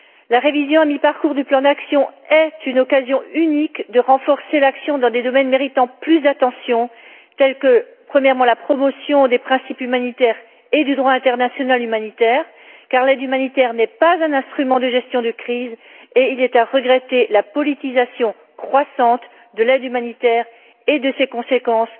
La révision à mi parcours du plan d'action est une occasion unique de renforcer l'action dans des domaines méritant plus d'attention tels que, premièrement, la promotion des principes humanitaires et du droit international humanitaire, car l'aide humanitaire n'est pas un instrument de gestion de crise et il convient de regretter la politisation croissante de l'aide humanitaire et de ses conséquences